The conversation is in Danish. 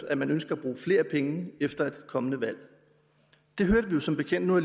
at man ønsker at bruge flere penge efter et kommende valg det hørte vi jo som bekendt nu har